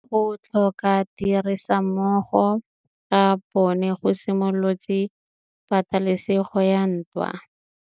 Go tlhoka tirsanommogo ga bone go simolotse patêlêsêgô ya ntwa.